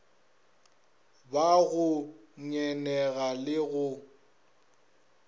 ba go ngenega le go